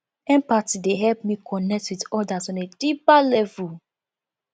empathy dey help me connect with others on a deeper level